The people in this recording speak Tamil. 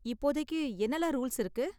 இப்போதைக்கு என்னலாம் ரூல்ஸ் இருக்கு?